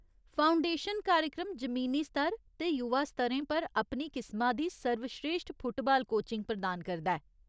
Foundation कार्यक्रम जमीनी स्तर ते युवा स्तरें पर अपनी किसमा दी सर्वश्रेश्ठ फुटबाल कोचिंग प्रदान करदा ऐ।